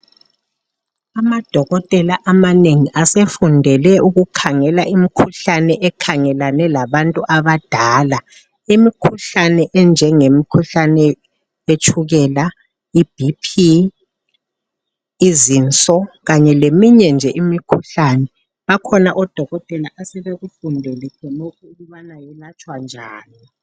Amadokotela amanengi asefundele ukukhangela imikhuhlane ekhangelene labantu abadala . Imikhuhlane enjengemikhuhlane yetshukela, iBP, izinso kanye leminye leminye nje imikhuhlane . Bakhona odokotela esebekufundele khonokho ukubana kwelatshwa njani.